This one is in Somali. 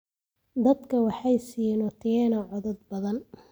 Dadku waxay siiyeen Otieno codad badan